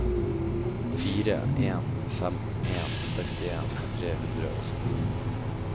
fire en fem en sekstien tre hundre og syttifem